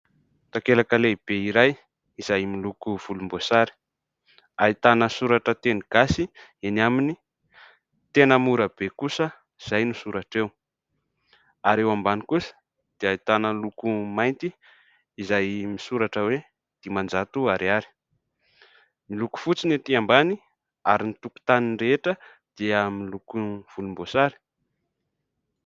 Takelaka lehibe iray izay miloko volomboasary, ahitana soratra teny gasy eny aminy. "Tena mora be kosa" izay no soratra eo ary eo ambany kosa dia ahitana loko mainty izay misoratra hoe "Dimanjato ariary" ; miloko fotsy ny ety ambany ary ny tokontany rehetra dia miloko volomboasary.